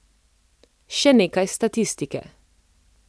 Še nekaj statistike.